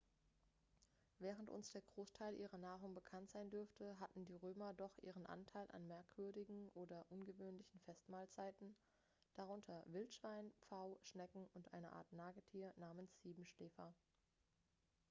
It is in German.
während uns der großteil ihrer nahrung bekannt sein dürfte hatten die römer doch ihren anteil an merkwürdigen oder ungewöhnlichen festmahlzeiten darunter wildschwein pfau schnecken und eine art nagetier namens siebenschläfer